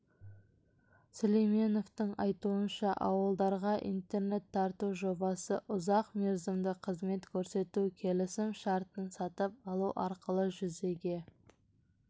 сүлейменовтың айтуынша ауылдарға интернет тарту жобасы ұзақ мерзімді қызмет көрсету келісім шартын сатып алу арқылы жүзеге